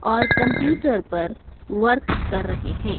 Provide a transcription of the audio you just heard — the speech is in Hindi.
और कंप्यूटर पर वर्क कर रहे हैं।